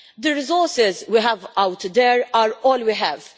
The resources we have out there are all we have